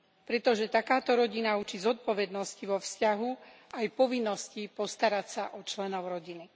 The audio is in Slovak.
Pretože takáto rodina učí zodpovednosti vo vzťahu aj povinnosti postarať sa o členov rodiny.